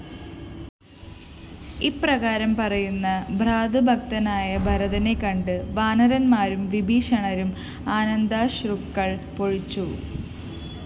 ഇപ്രകാരം പറയുന്ന ഭ്രാതൃഭക്തനായ ഭരതനെക്കണ്ട് വാനരന്മാരും വിഭീഷണനും ആനന്ദാശ്രുക്കള്‍ പൊഴിച്ചു